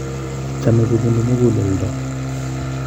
chamee kobunuu mukuleldo